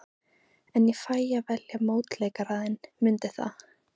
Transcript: En ég fæ að velja mótleikara þinn, mundu það.